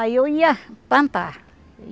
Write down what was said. Aí eu ia plantar.